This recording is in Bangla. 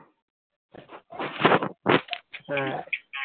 হ্যাঁ